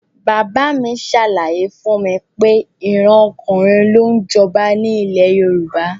Bàbá mi ṣàlàyé fún mi pé ìran ọkùnrin ló ń jọba ní ilẹ̀ Yorùbá